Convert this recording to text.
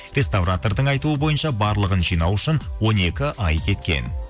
реставратордың айтуы бойынша барлығын жинау үшін он екі ай кеткен